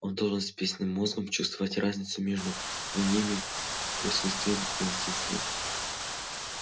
он должен спинным мозгом чувствовать разницу между моими присутствием и отсутствием